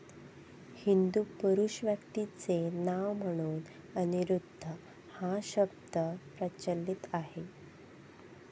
हिंदू पुरुष व्यक्तीचे नाव म्हणून अनिरुद्ध हा शब्द प्रचलित आहे.